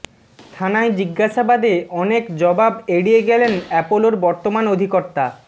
থানায় জিজ্ঞাসাবাদে অনেক জবাব এড়িয়ে গেলেন অ্যাপোলোর বর্তমান অধিকর্তা